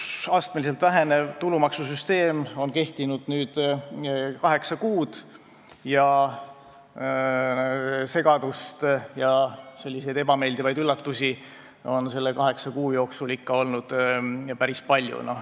Uus, astmeliselt vähenev tulumaksusüsteem on kehtinud nüüd kaheksa kuud ning segadust ja ebameeldivaid üllatusi on selle aja jooksul olnud ikka päris palju.